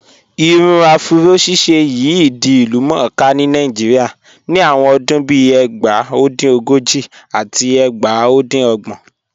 Irun afúró ṣíṣẹ̀ yìí di ilúmọ̀ọ́kà ni Naijíríà nọ̀ awọn ọdún bíì ẹgbá. O dín ogojì àti ẹgbá o dín ogbọn